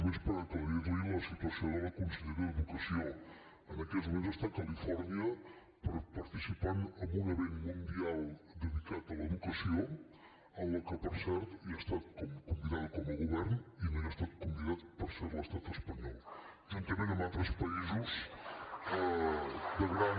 només per aclarir li la situació de la consellera d’educació en aquests moments està a califòrnia per participar en un esdeveniment mundial dedicat a l’educació en què per cert hi ha estat convidada com a govern i no hi ha estat convidat per cert l’estat espanyol juntament amb altres països de gran